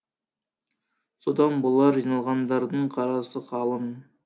содан болар жиналғандардың қарасы қалың